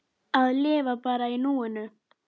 Hvíl í friði, kæri minn.